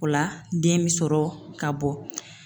O la den bi sɔrɔ ka bɔ.